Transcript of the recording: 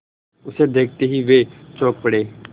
उसे देखते ही वे चौंक पड़े